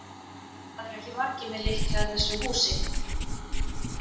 Það eru ekki margir með lykla að þessu húsi.